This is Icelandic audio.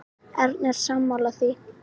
Erna er sammála því.